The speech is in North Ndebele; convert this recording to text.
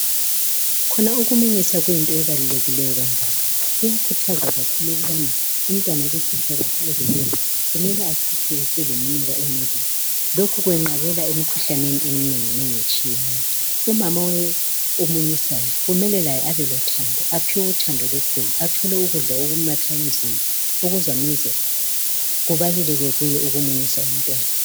Kukhona ukumunyusa kuyinto ebalulekileyo kangaka inkukhathazo kakhulu kubomama umntwana ukukhitshwa kwakhe ebeleni kumele akhitshwe eseleminyaka emibili. Lokhu kwenqabela imikhuhlane eminenginengi etshiyeneyo. Umama omunyisayo umntwana kumele aphiwe uthando abelothando olukhulu athole ukudla okwakha okuzamenza kubaluleke kuye ukumunyisa umntwana.